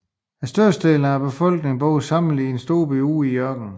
Størstedelen af befolkningen bor samlet i en stor by ude i ørkenen